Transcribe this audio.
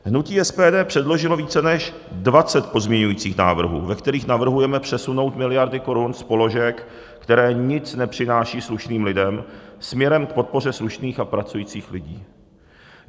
Hnutí SPD předložilo více než 20 pozměňovacích návrhů, ve kterých navrhujeme přesunout miliardy korun z položek, které nic nepřinášejí slušným lidem, směrem k podpoře slušných a pracujících lidí.